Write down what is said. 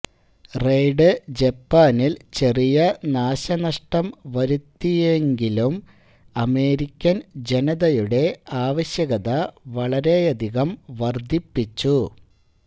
raid ജപ്പാനിൽ ചെറിയ നാശനഷ്ടം വരുത്തിവെങ്കിലും അമേരിക്കൻ ജനതയുടെ ആവശ്യകത വളരെയധികം വർദ്ധിപ്പിച്ചു